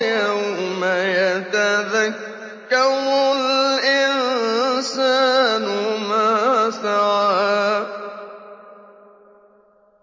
يَوْمَ يَتَذَكَّرُ الْإِنسَانُ مَا سَعَىٰ